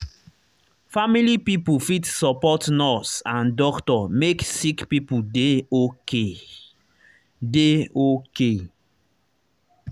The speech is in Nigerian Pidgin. family pipo fit support nurse and doctor make sick pipo dey okay. dey okay.